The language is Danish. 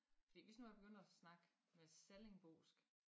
Fordi hvis nu jeg begyndte at snakke med sallingbosk